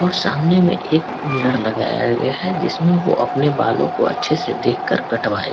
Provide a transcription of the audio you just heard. और सामने में एक मिरर लगाया गया हैं जिसमे वो अपने बालो को अच्छे से देख के कटवाए--